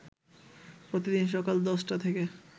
প্রতিদিন সকাল ১০টা থেকে